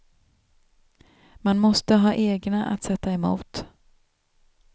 Man måste ha egna att sätta emot.